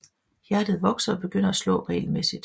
Hjertet vokser og begynder at slå regelmæssigt